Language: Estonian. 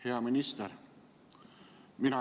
Hea minister!